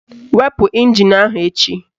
Wepu ịnjin ahụ echi!